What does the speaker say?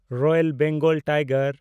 royal Bengal tiger